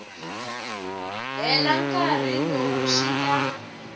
hela nkarhi lowu swi ta